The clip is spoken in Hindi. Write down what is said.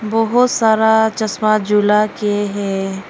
बहुत सारा चश्मा झूला के हैं।